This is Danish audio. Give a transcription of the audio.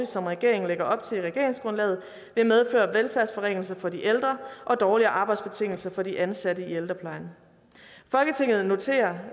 som regeringen lægger op til i regeringsgrundlaget vil medføre velfærdsforringelser for de ældre og dårligere arbejdsbetingelser for de ansatte i ældreplejen folketinget noterer